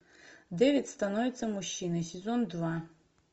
дэвид становится мужчиной сезон два